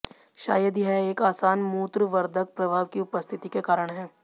शायद यह एक आसान मूत्रवर्धक प्रभाव की उपस्थिति के कारण है